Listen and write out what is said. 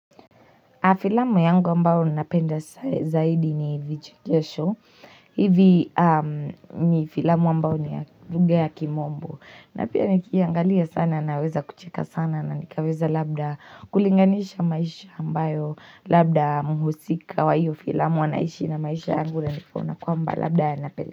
Filamu yangu ambayo napenda zaidi ni vichekesho hivi ni filamu ambayo ni ya lugha ya kimombo. Na pia nikiangalia sana naweza kucheka sana na nikaweza labda kulinganisha maisha ambayo Labda muhusika wa iyo filamu wanaishi na maisha yangu na nifona kwamba labda ya napenda.